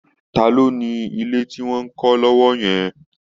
Ta ló ni ilé tí wọ́n ń kọ́ lọ́wọ́ yẹn